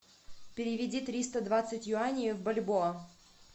переведи триста двадцать юаней в бальбоа